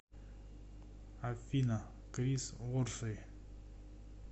афина крис ворсей